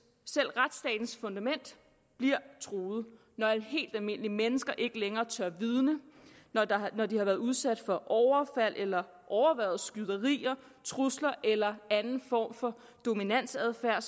fundament bliver truet når helt almindelige mennesker ikke længere tør vidne når de har været udsat for overfald eller overværet skyderier trusler eller anden form for dominansadfærd